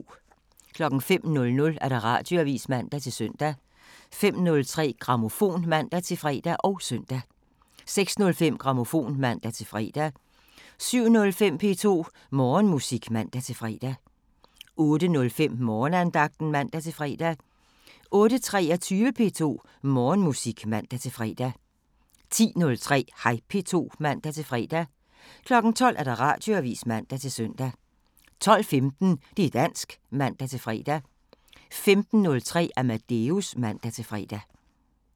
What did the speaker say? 05:00: Radioavisen (man-søn) 05:03: Grammofon (man-fre og søn) 06:05: Grammofon (man-fre) 07:05: P2 Morgenmusik (man-fre) 08:05: Morgenandagten (man-fre) 08:23: P2 Morgenmusik (man-fre) 10:03: Hej P2 (man-fre) 12:00: Radioavisen (man-søn) 12:15: Det' dansk (man-fre) 15:03: Amadeus (man-fre)